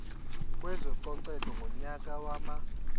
kwezococeko ngonyaka wama